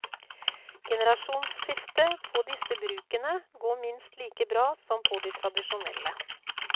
Generasjonsskifte på disse brukene går minst like bra som på de tradisjonelle.